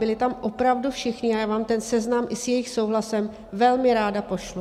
Byli tam opravdu všichni a já vám ten seznam i s jejich souhlasem velmi ráda pošlu.